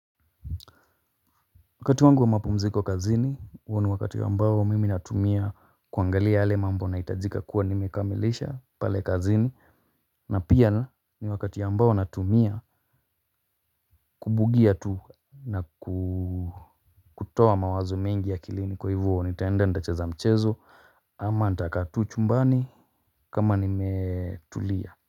Wakati wangu wa mapumziko kazini, huo ni wakati ambao mimi natumia kuangalia yale mambo nahitajika kuwa nimekamilisha pale kazini. Na pia ni wakati ya ambao natumia, kubugia tu. Na kutoa mawazo mengi akilini, kwa hivo nitaenda nitacheza mchezo. Ama nitakaa tu chumbani, kama nimetulia.